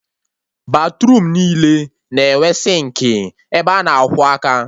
Batruum niile na-enwe sịnkị ebe a na-akwọ aka